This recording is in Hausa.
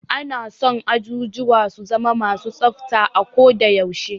Ana son ajujuwa su zama ma su tsafta a ko da yaushe.